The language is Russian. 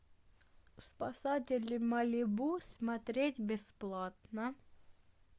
спасатели малибу смотреть бесплатно